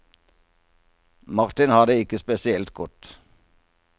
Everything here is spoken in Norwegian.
Martin har det ikke spesielt godt.